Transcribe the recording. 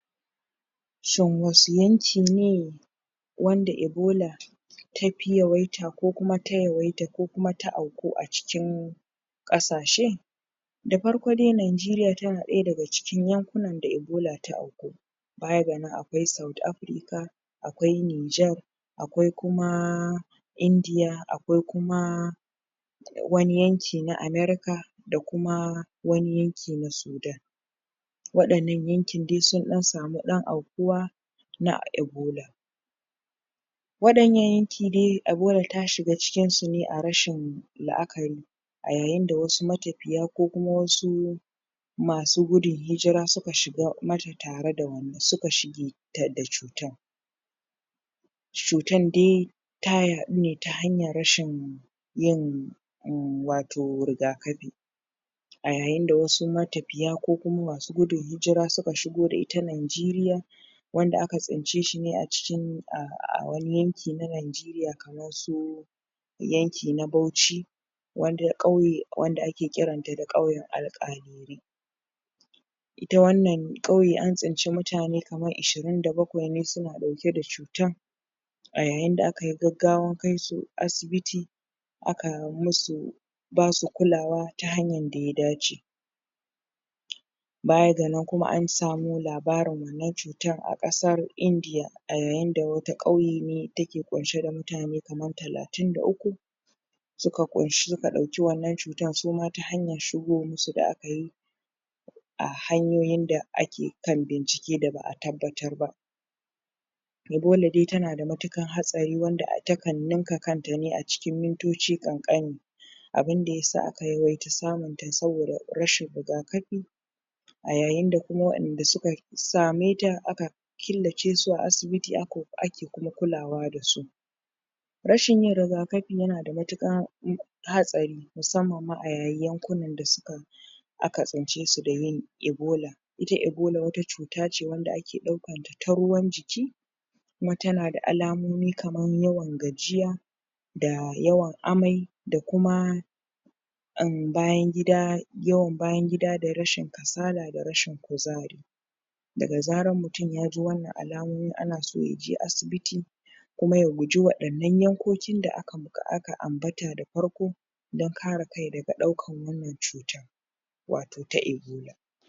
Noma da kalubale a kasuwar mai gwale Da sauran kayayyakin itacen gwale a najeriya Dama a kasuwa Bukatar mai na gwale A cikin gida da waje Mai na gwale yana daya daga cikin kayayyakin da ake amfani dasu sosai a najeriya Wajen dafawa da sarrafa abinci Bukatar mai na gwale a cikin gida tana da yawa Kuma yana, Daya daga cikin kayayyakin da ake sayar wa a kasuwanni na duniya Hakan yana samar da dama ga manoma Da masu sarrafa mai na gwale Wajen samun kasuwa cikin gida Da kuma kasuwanin duniya Musamman a kasashen da suke amfani da mai na gwale sosai Hada-hada kayayyakin itacen gwale, Manoman gwale Akwai wasu kayayyakin da ake Da aka samo daga itacen gwale Kamar man ganyen gwale Da kuma ganyen gwale da ake amfani dasu Wajen gini koyin kayan daki Wannan yana samar da dama a kasuwani daban-daban Kamar na dabbobi Gini Da kayan abinci Bunkasar masana'antu da ayukan tattalin arziki Kasuwancin mai na gwale Na daya daga cikin Masana'antu masu mahimmanci a najeriya Wanda ke samar da aikin yi ga milyoyin mutane Daga manoma Har zuwa masu sarrafa mai na gwalen Da sauran kayayyakin itacen gwalen Wannan yana taimaka wa wajen bunkasa tattalin arzikin duniya Tattalin arzikin kasa da kuma rage talauci Amfani a fannin kiyun dabbobi da noman noma Mai na gwale yana amfani sosai wajen samar da abinci ga dabbobi! Musamman a fannin Kiwon shanu Cin nama Da kuma kiwon kaji Wannan yana bada damar kasuwanci mai na gwale da sauran kayayyakin itacen gwale a cikin najeriya Da kasashen waje kalubalai a kasuwa Tsadar samun albarkatun kasuwanci Daya daga cikin manyan kalubale ga manoma Na sarrafa mai na gwale a najeriya Shina tsadar kayan aiki da albarkatun kasa